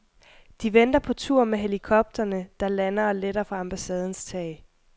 De venter på tur med helikopterne, der lander og letter fra ambassadens tag.